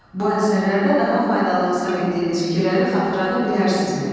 Bu əsərlərdə daha faydalı hesab etdiyiniz fikirləri xatırlada bilərsinizmi?